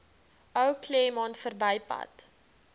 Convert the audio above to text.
ou claremont verbypad